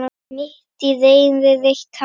Mitt í reiði reyti hár.